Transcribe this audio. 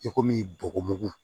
I komi bɔgɔ mugu